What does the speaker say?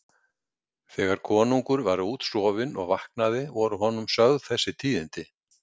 Þegar konungur var útsofinn og vaknaði voru honum sögð þessi tíðindi.